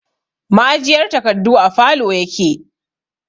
Ma'ajiyar takardu a falow yake